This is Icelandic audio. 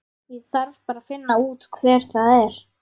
Ég þarf bara að finna út hver það er.